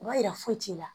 O b'a yira foyi t'i la